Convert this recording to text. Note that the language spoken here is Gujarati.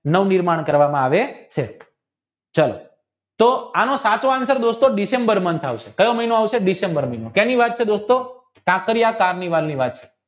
નવું નિર્માણ કરવામાં આવે છે ચાલો તો આનો સાચો answer ડિસેમ્બર માં આવશે કેની વાત છે દોસ્તો કાંકરિયાતવ ની વાત છે